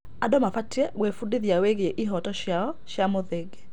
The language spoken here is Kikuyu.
Andũ mabatiĩ gwĩbundithia wĩgiĩ ihooto ciao cia mũthingi.